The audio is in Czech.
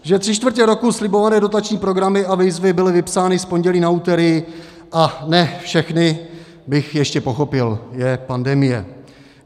Že tři čtvrtě roku slibované dotační programy a výzvy byly vypsány z pondělí na úterý, a ne všechny, bych ještě pochopil, je pandemie.